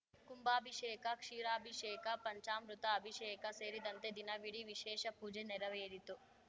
ಕುಂಭಾಭಿಷೇಕ ಕ್ಷೀರಾಭಿಷೇಕ ಪಂಚಾಮೃತ ಅಭಿಷೇಕ ಸೇರಿದಂತೆ ದಿನವಿಡೀ ವಿಶೇಷ ಪೂಜೆ ನೆರವೇರಿತು